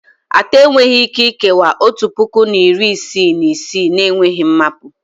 Atọ enweghị Ike ikewaa otu puku na iri isii na isii na-enweghị mmapu